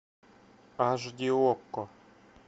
аш ди окко